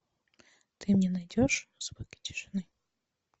ты мне найдешь звуки тишины